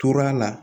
Tora la